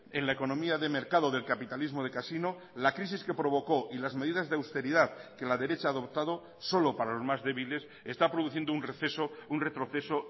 en la economía de mercado del capitalismo de casino la crisis que provocó y las medidas de austeridad que la derecha ha adoptado solo para los más débiles está produciendo un receso un retroceso